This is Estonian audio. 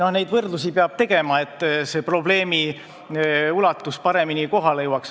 Ei, neid võrdlusi peab tegema, et probleemi ulatus paremini kohale jõuaks.